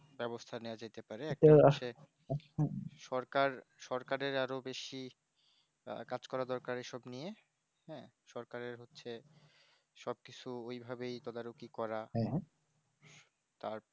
ব্যবস্থা নেওয়া যেতে পারে একটা হচ্ছে সরকার সকারের আরো বেশি কাজ করা দরকার এসব নিয়ে হ্যাঁ সরকারের হচ্ছে সব কিছু ওই ভাবেই তদারকি করা তারপর